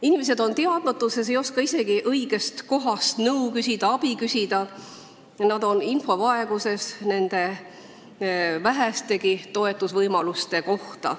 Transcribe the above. Inimesed on teadmatuses, ei oska õigest kohast nõu ja abi küsida, nad ei tea infot nende vähestegi toetusvõimaluste kohta.